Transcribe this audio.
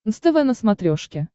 нств на смотрешке